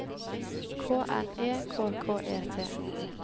K N E K K E T